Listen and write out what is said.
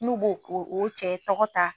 N'u b'o o o cɛ tɔgɔ ta